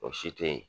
O si te ye